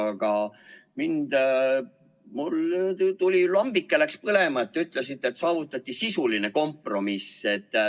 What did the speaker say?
Aga mul läks lambike põlema, kui te ütlesite, et saavutati sisuline kompromiss.